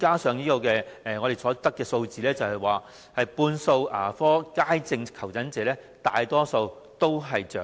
此外，我們所得的數字顯示，牙科街症求診者逾半數為長者。